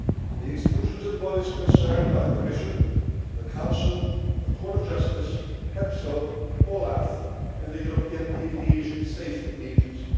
The institutions and bodies concerned are the Commission, the Council, the Court of Justice, EPSO, OLAF and the European Aviation Safety Agency.